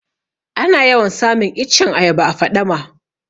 Ana yawan samun iccen ayaba a faɗama